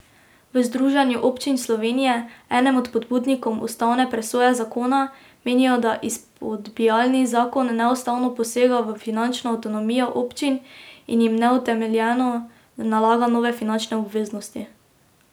V Združenju občin Slovenije, enem od pobudnikov ustavne presoje zakona, menijo, da izpodbijani zakon neustavno posega v finančno avtonomijo občin in jim neutemeljeno nalaga nove finančne obveznosti.